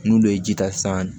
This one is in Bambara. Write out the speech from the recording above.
N'olu ye ji ta san